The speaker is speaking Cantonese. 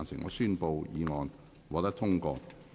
我宣布議案獲得通過。